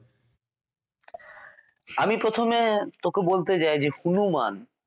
আমি প্রথমে তোকে বলতে চাই যে হনুমান